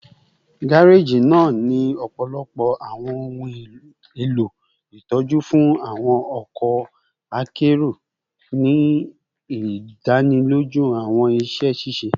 gareji naa ni ọpọlọpọ awọn ohun elo itọju fun awọn ọkọ akero, ni idaniloju awọn iṣẹ ṣiṣe